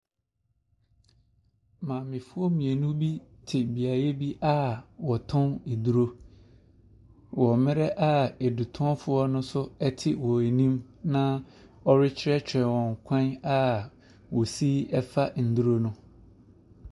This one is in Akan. Maamefoɔ mmienu bi te beaeɛ bi a wɔtɔn aduro wɔ mmrɛ a adutɔnfoɔ no nso ɛte wɔn anim na ɔrekyerɛkyerɛ wɔn kwan a ɔsi ɛfa nnuro no.